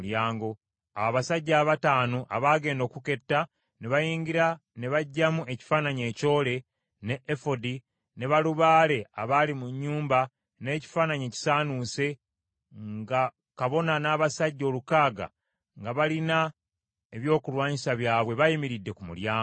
Awo abasajja abataano abaagenda okuketta ne bayingira ne baggyamu ekifaananyi ekyole, ne Efodi, ne balubaale abaali mu nnyumba n’ekifaananyi ekisaanuuse, nga kabona n’abasajja olukaaga nga balina ebyokulwanyisa byabwe bayimiridde ku mulyango.